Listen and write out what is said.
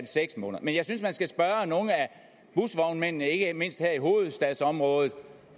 seks måneder men jeg synes man skal spørge nogle af busvognmændene ikke mindst her i hovedstadsområdet